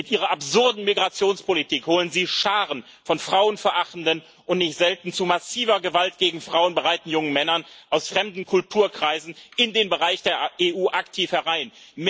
Mit Ihrer absurden Migrationspolitik holen Sie Scharen von frauenverachtenden und nicht selten zu massiver Gewalt gegen Frauen bereiten jungen Männern aus fremden Kulturkreisen in den Bereich der EU aktiv herein.